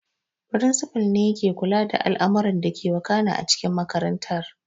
Firinsifal ne yake kula da al'amuran dake wakana a cikin makarantar